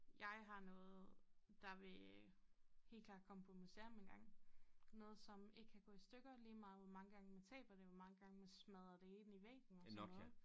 Jeg har noget der vil helt klart komme på museum engang noget som ikke kan gå i stykker lige meget hvor mange gange man taber det hvor mange gange man smadrer det ind i væggen og sådan noget